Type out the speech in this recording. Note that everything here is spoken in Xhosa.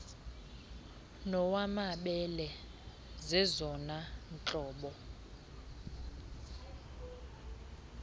nowamabele zezona ntlobo